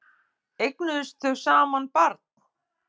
Eignuðust þau barn saman?